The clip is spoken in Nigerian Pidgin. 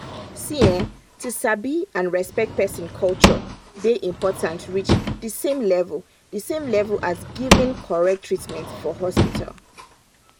see[um]to sabi and respect person culture dey important reach the same level the same level as giving correct treatment for hospital.